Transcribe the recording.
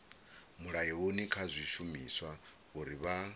mulayoni kha zwishumiswa uri vha